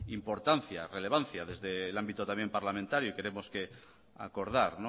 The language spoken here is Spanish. importancia relevancia desde el ámbito también parlamentario y queremos acordar